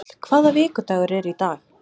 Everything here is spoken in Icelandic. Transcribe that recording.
Mjöll, hvaða vikudagur er í dag?